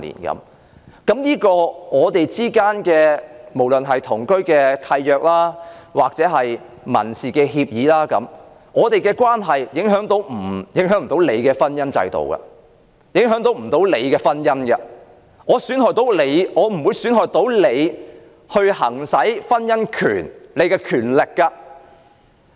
不論我是透過同居契約或民事協議作出安排，我們的關係不會影響婚姻制度及別人婚姻，亦不會損害別人行使婚姻權的權利。